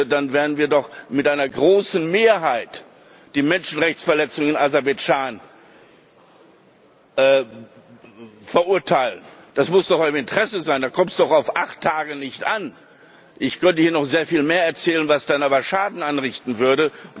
Dann werden wir doch mit einer großen Mehrheit die Menschenrechtsverletzungen in Aserbaidschan verurteilen. Das muss doch in Eurem Interesse sein, da kommt es doch auf acht Tage nicht an. Ich könnte hier noch sehr viel mehr erzählen, was dann aber Schaden anrichten würde.